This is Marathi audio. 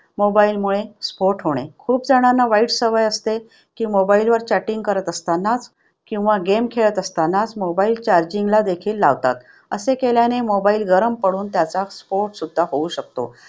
mobile मुळे स्फोट होणे. खूप जणांना वाईट सवय असते की chatting करत असताना किंवा game खेळत असताना mobile charging ला देखील लावतात. असे केल्याने mobile गरम पडून त्याचा स्फोट सुद्धा होऊ शकतो.